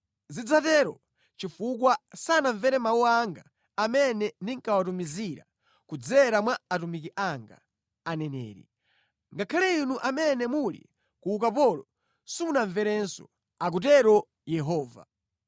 Zidzatero chifukwa sanamvere mawu anga amene ndinkawatumizira kudzera mwa atumiki anga, aneneri. Ngakhale inu amene muli ku ukapolo simunamverenso,” akutero Yehova.